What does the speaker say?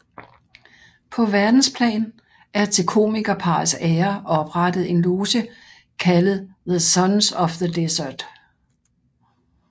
På verdensplan er til komikerparrets ære oprettet en loge kaldet The Sons of the Desert